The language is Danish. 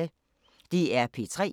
DR P3